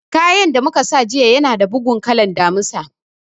Kayan da mu ka saya jiya ya na da bugun kalan Damisa